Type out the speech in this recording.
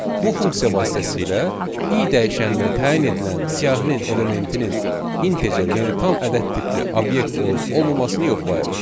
Bu funksiya vasitəsilə i dəyişəninə təyin edilən siyahının elementinin integer, yəni tam ədəd tipli obyekt olub-olmaması yoxlayırıq.